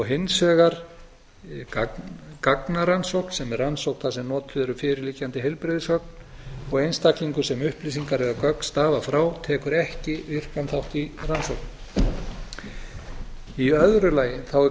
hins vegar gagnarannsókn sem er rannsókn þar sem notuð eru fyrirliggjandi heilbrigðisgögn og einstaklingur sem upplýsingar eða gögn stafa frá tekur ekki virkan þátt í rannsókn í öðru lagi er